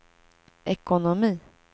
ekonomi